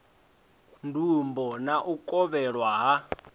ndumbo na u kovhelwa ha